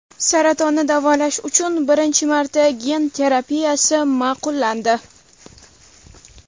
Saratonni davolash uchun birinchi marta gen terapiyasi ma’qullandi.